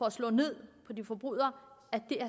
at slå ned på de forbrydere